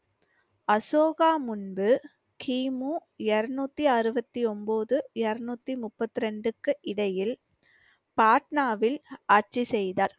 அசோகா முன்பு கிமு இருநூத்தி அறுபத்தி ஒன்பது இருநூத்தி முப்பத்தி ரெண்டுக்கு இடையில் பாட்னாவில் ஆட்சி செய்தார்.